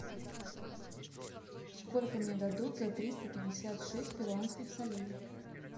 сколько мне дадут за триста пятьдесят шесть перуанских солей